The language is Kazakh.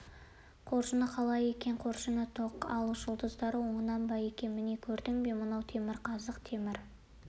қоржыны қалай екен қоржыны тоқ ал жұлдызы оңынан ба екен міне көрдің бе мынау темірқазық темір